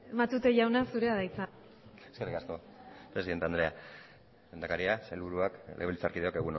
matute jauna zurea da hitza eskerrik asko presidente andrea lehendakaria sailburuak legebiltzarkideok